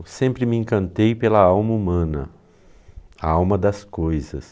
Eu sempre me encantei pela alma humana, a alma das coisas.